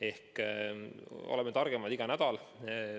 Ehk oleme targemad iga nädalaga.